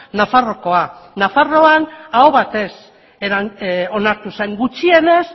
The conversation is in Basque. nafarroakoa nafarroan aho batez onartu zen gutxienez